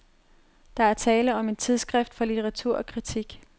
Der er tale om en tidsskrift for litteratur og kritik.